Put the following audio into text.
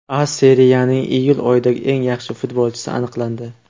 A Seriyaning iyul oyidagi eng yaxshi futbolchisi aniqlandi.